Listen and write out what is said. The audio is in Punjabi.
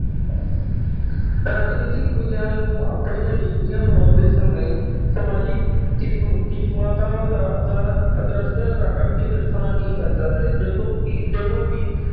ਰਾਜਨੀਤਿਕ ਵਿਗਿਆਨ ਨੂੰ ਆਪਣੀਆਂ ਨੀਤੀਆਂ ਬਣਾਉਂਦੇ ਸਮੇਂ ਸਮਾਜਿਕ ਕਿਸਮ ਕੀਮਤਾਂ ਦਾ ਅਦਾ ਆਦਰਸ਼ ਰ ਅੱਗੇ ਰੱਖਣਾ ਹੀ ਪੈਂਦਾ ਹੈ, ਜਦੋਂ ਕਿ ਜਦੋਂ ਵੀ